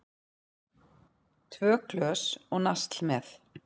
Tvö glös og nasl með.